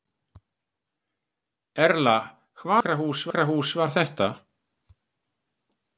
Erla: Hvaða sjúkrahús var þetta?